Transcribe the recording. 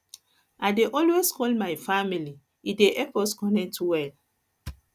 I dey always call my family e dey help us connect well